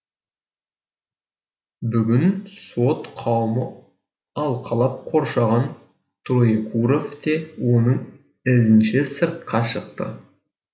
бүгін сот қауымы алқалап қоршаған троекуров те оның ізінше сыртқа шықты